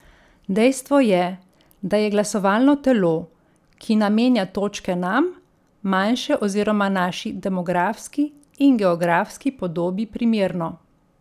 Dejstvo je, da je glasovalno telo, ki namenja točke nam, manjše oziroma naši demografski in geografski podobi primerno.